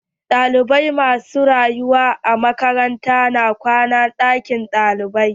Ɗalibai ma su rayuwa a makaranta na zaman ɗakin kwanan ɗalibai.